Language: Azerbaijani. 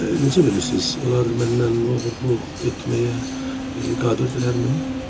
Necə bilirsiz, onlar məndən oğruluq etməyə qadirdirlərmi?